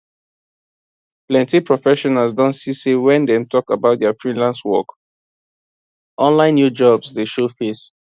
plenty professionals don see say when dem talk about dia freelance work online new jobs dey show face